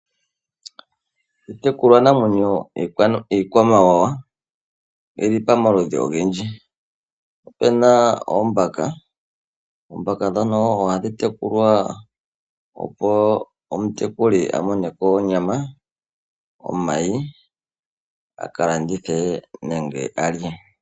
Iitekulwa namwenyo iikwamawawa oyili pamaludhi ogendji. Opuna oombaka, oombaka oha dhi tekulwa opo omutekuli a mone ko onyama, omayi akalandithe nenge a lye.